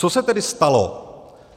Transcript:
Co se tedy stalo?